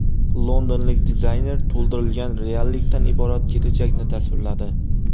Londonlik dizayner to‘ldirilgan reallikdan iborat kelajakni tasvirladi .